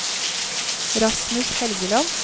Rasmus Helgeland